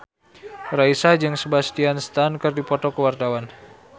Raisa jeung Sebastian Stan keur dipoto ku wartawan